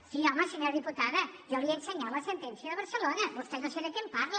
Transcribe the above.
sí home senyora diputada jo li he ensenyat la sentència de barcelona vostè no sé de què em parla